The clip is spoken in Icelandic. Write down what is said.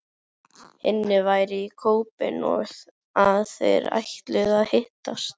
Hinni væri í Köben og að þeir ætluðu að hittast.